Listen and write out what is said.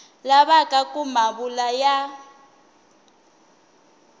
lavaka ku ma vula ya